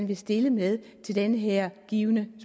vil stille med i den her givne